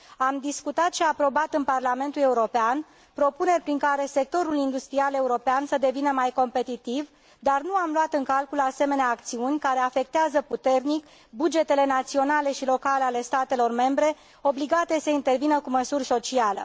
Am discutat și aprobat în Parlamentul European propuneri prin care sectorul industrial european să devină mai competitiv, dar nu am luat în calcul asemenea acțiuni care afectează puternic bugetele naționale și locale ale statelor membre, obligate să intervină cu măsuri sociale.